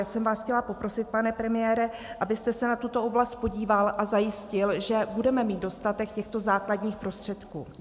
Já jsem vás chtěla poprosit, pane premiére, abyste se na tuto oblast podíval a zajistil, že budeme mít dostatek těchto základních prostředků.